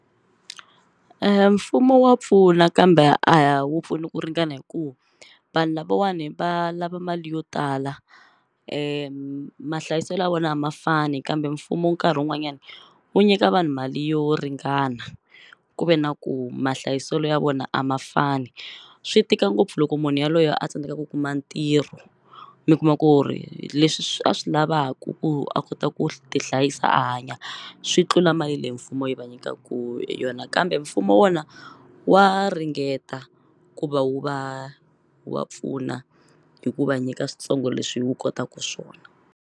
Mfumo wa pfuna kambe a wu pfuni ku ringana hi ku vanhu lavawani va lava mali yo tala mahlayiselo ya vona a ma fani kambe mfumo nkarhi wun'wanyani wu nyika vanhu mali yo ringana ku ve na ku mahlayiselo ya vona a ma fani swi tika ngopfu loko munhu yaloye a tsandzeka ku kuma ntirho mi kuma ku ri leswi a swi lavaku ku a kota ku ti hlayisa a hanya swi tlula mali leyi mfumo yi va nyikaku hi yona kambe mfumo wona wa ringeta ku va wu va wa pfuna hi ku va nyika switsongo leswi wu kotaku swona.